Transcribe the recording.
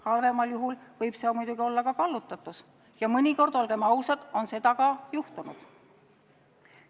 Halvemal juhul võib see muidugi olla ka kallutatus ja mõnikord, olgem ausad, on seda ka juhtunud.